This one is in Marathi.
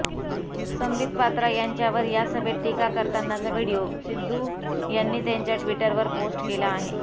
संबित पात्रा यांच्यावर या सभेत टीका करतानाचा व्हिडिओ सिध्दू यांनी त्यांच्या टि्वटरवर पोस्ट केला आहे